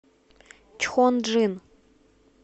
чхонджин